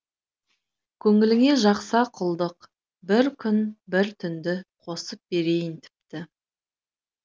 көңіліңе жақса құлдық бір күн бір түнді қосып берейін тіпті